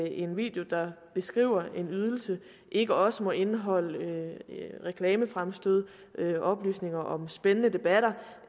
en video der beskriver en ydelse ikke også må indeholde reklamefremstød oplysninger om spændende debatter